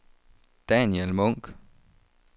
Daniel Munk